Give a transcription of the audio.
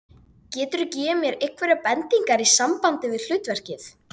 Hann var í boði bandarísku alríkislögreglunnar.